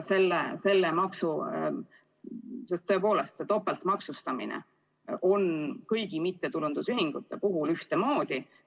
Sest tõepoolest see topeltmaksustamine kehtib kõigi mittetulundusühingute puhul ühtemoodi.